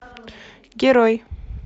герой